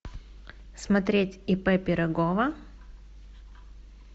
смотреть ип пирогова